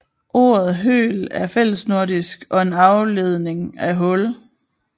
Ordet høl er fællesnordisk og en afledning af hul